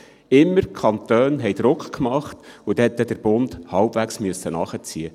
Danach musste der Bund halbwegs nachziehen.